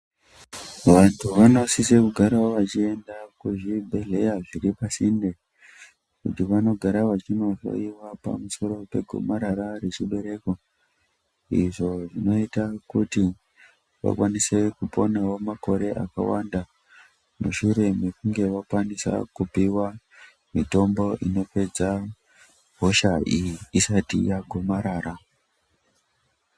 Vantu vanosise kugarawo vachienda kuzvibhehhleya zviri pasinde kuti vanogara vachinohloyiwa pamusoro pegomarara rechibereko. Izvo zvinoita kuti vakwanise kuponawo makore akawanda mushure mekunge vakwanisa kupiwa mitombo inopedza hosha iyi isati yagomarara.